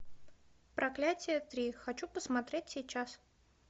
проклятие три хочу посмотреть сейчас